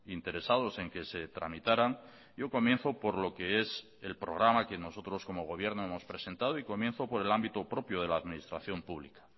interesados en que se tramitaran yo comienzo por lo que es el programa que nosotros como gobierno hemos presentado y comienzo por el ámbito propio de la administración pública